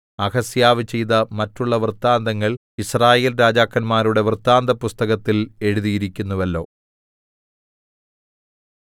അഹസ്യാവ് ചെയ്ത മറ്റുള്ള വൃത്താന്തങ്ങൾ യിസ്രായേൽ രാജാക്കന്മാരുടെ വൃത്താന്തപുസ്തകത്തിൽ എഴുതിയിരിക്കുന്നുവല്ലോ